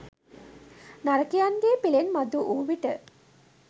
නරකයන්ගේ පිලෙන් මතුවූ විට